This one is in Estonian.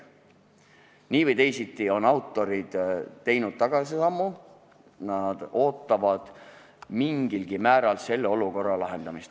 Nii või teisiti on autorid teinud tagasisammu, nad ootavad mingilgi määral selle olukorra lahendamist.